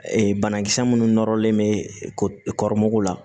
Ee banakisɛ minnu nɔrɔlen bɛ kɔrɔmɔgɔw la